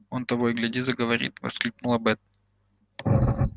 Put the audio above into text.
он того и гляди заговорит воскликнула бэт